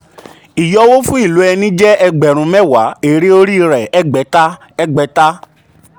ìyọwọ́ fún ìlò ẹni jẹ́ ẹgbẹ̀rún um mẹ́wàá èrè orí rẹ̀ ẹ̀ẹ́gbẹ̀ta. ẹ̀ẹ́gbẹ̀ta.